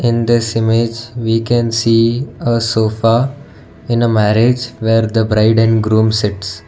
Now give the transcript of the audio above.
in this image we can see a sofa in a marriage where the bride and groom sits.